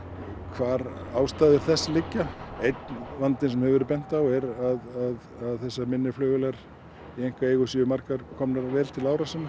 hvar ástæður þess liggja einn vandinn sem hefur verið bent á er að þessar minni flugvélar í einkaeigu séu margar komnar vel til ára sinna